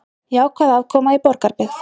Jákvæð afkoma í Borgarbyggð